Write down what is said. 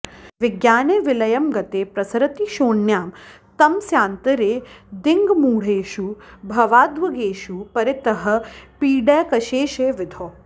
विज्ञाने विलयं गते प्रसरति क्षोण्यां तमस्यान्तरे दिङ्मूढेषु भवाध्वगेषु परितः पीडैकशेषे विधौ